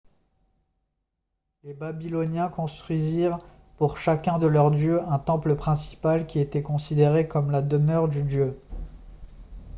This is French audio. les babyloniens construisirent pour chacun de leurs dieux un temple principal qui était considéré comme la demeure du dieu